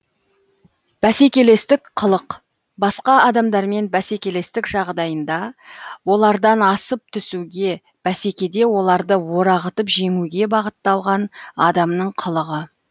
бәсекелестік қылық басқа адамдармен бәсекелестік жағдайында олардан асып түсуге бәсекеде оларды орағытып жеңуге бағытталған адамның қылығы